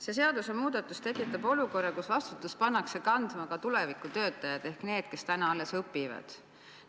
See seadusemuudatus tekitab olukorra, kus vastutust pannakse kandma ka tuleviku töötajad ehk need, kes täna alles õpivad.